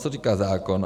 Co říká zákon?